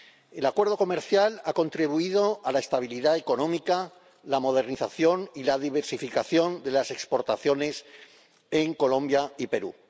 El Acuerdo Comercial ha contribuido a la estabilidad económica, la modernización y la diversificación de las exportaciones en Colombia y Perú.